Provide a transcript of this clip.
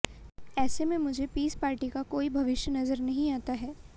ऐसे में मुझे पीस पार्टी का कोई भविष्य नज़र नहीं आता है